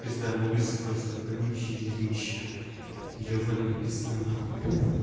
пизда на улице просто гавнище дерьмище ёбаная весна нахуй